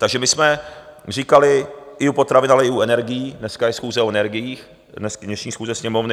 Takže my jsme říkali i u potravin, ale i u energií - dneska je schůze o energiích, dnešní schůze Sněmovny.